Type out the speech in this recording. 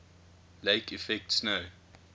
lake effect snow